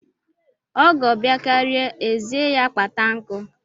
Ọgọ bịakaria, ezie ya kpata nkụ.